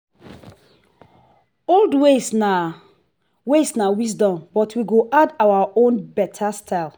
old ways na ways na wisdom but we go add our own beta style.